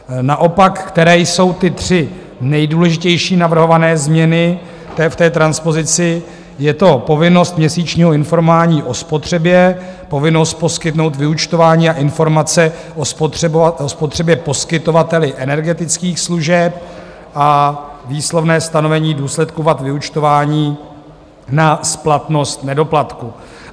Naopak které jsou ty tři nejdůležitější navrhované změny v té transpozici: je to povinnost měsíčního informování o spotřebě, povinnost poskytnout vyúčtování a informace o spotřebě poskytovateli energetických služeb a výslovné stanovení důsledků vad vyúčtování na splatnost nedoplatku.